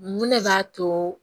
Mun ne b'a to